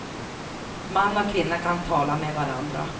Man och kvinna kan tala med varandra.